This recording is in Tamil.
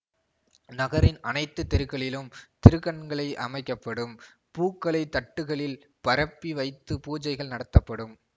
நகரின் அனைத்து தெருக்களிலும் திருக்கண்களை அமைக்க படும் பூக்களை தட்டுகளில் பரப்பி வைத்து பூஜைகள் நடத்தப்படும்